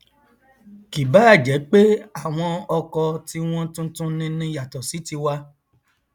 kì báà jẹ pé àwọn ọkọ tiwọn tuntun nini yàtọ sí tiwa